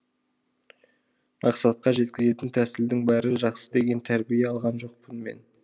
мақсатқа жеткізетін тәсілдің бәрі жақсы деген тәрбие алған жоқпын мен